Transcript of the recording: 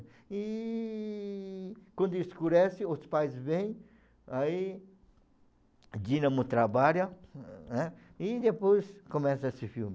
E quando escurece, os pais vêm, aí o Dinamo trabalha, né, e depois começa esse filme.